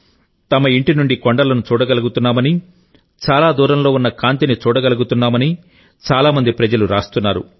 తమ ఇంటి నుండి కొండలను చూడగలుగుతున్నామని చాలా దూరంలో ఉన్న కాంతి ని చూడగలుగుతున్నామని చాలా మంది ప్రజలు రాస్తున్నారు